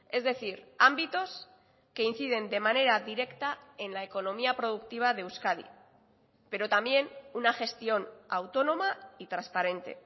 es decir ámbitos que inciden de manera directa en la economía productiva de euskadi pero también una gestión autónoma y transparente